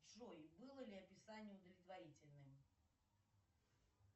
джой было ли описание удовлетворительным